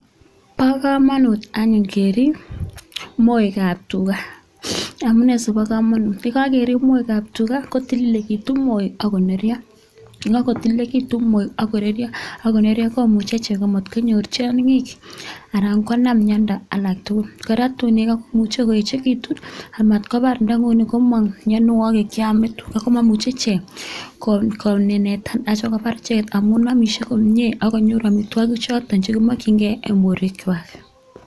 Bo kamanut anyun kerip moekab tuga amu nee si kobo kamanut? ye kakerip moekab tuga kotilelikitu moek ak koneryo ye kakotilelikitu moek ak koneryo komuchi chego mat konyor tionkik anan konam miendo alak tugul. Kora tu imuchi koekitu amat kobar ta ni nguni komong mienwogik cheome tuga ko mamuchi ichek konenetan asi kobar ichegek amu amisie komie ak konyor amitwogik chotok chekimokyingei eng borwekwak.